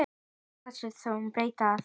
Því ákváðum við að breyta.